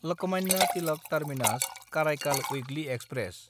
Lokmanya Tilak टार्मिनास–कारायकाल weekly express